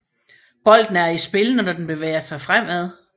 Bolden er i spil når den bevæger sig fremad